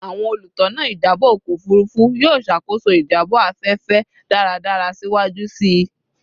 Awọn olutona ijabọ ọkọ ofurufu yoo ṣakoso ijabọ afẹfẹ daradara siwaju sii